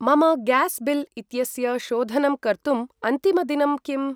मम gas bill इत्यस्य शोधनं कर्तुम् अन्तिमदिनं किम्?